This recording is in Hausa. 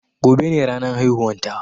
Gobe ne ranan haihuwan ta